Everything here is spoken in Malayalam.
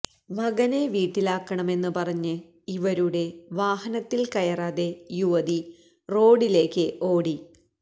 മകനെ വീട്ടിലാക്കണമെന്ന് പറഞ്ഞ് ഇവരുടെ വാഹനത്തില്ക്കയറാതെ യുവതി റോഡിലേക്ക് ഓടി